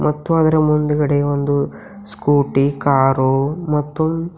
ಮತ್ತು ಅದರ ಮುಂದ್ಗಡೆ ಒಂದು ಸ್ಕೂಟಿ ಕಾರು ಮತ್ತು--